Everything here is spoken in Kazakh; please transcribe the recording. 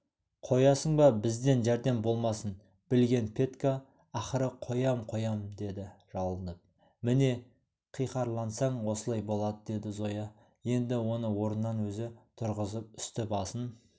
қоясың ба бізден жәрдем болмасын білген петька ақыры қоям қоям деді жалынып міне қиқарлансаң осылай болады деді зоя енді оны орнынан өзі тұрғызып үсті-басын